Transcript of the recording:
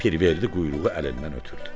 Pirverdi quyruğu əlindən ötürdü.